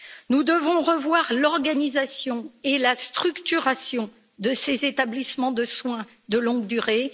Nous devons revoir l'organisation et la structuration de ces établissements de soins de longue durée.